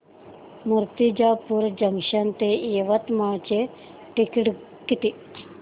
Murtijapur junction ते यवतमाळ चे ticket किती